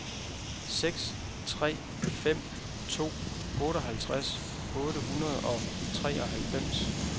seks tre fem to otteoghalvtreds otte hundrede og treoghalvfems